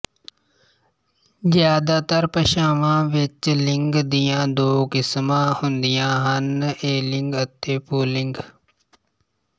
ਜ਼ਿਆਦਾਤਰ ਭਾਸ਼ਾਵਾਂ ਵਿੱਚ ਲਿੰਗ ਦੀਆਂ ਦੋ ਕਿਸਮਾਂ ਹੁੰਦੀਆਂ ਹਨ ਇਲਿੰਗ ਅਤੇ ਪੁਲਿੰਗ